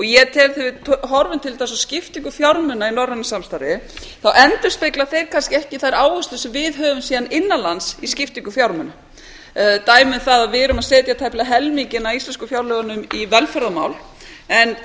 ég tel þegar við horfum til dæmis á skiptingu fjármuna í norrænu samstarfi að þá endurspegla þeir kannski ekki þær áherslur sem við höfum síðan innan lands í skiptingu fjármuna dæmi um það að við erum að setja tæplega helminginn af íslensku fjárlögunum í velferðarmál en